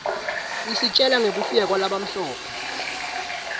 isitjela ngekufika kwalabamhlope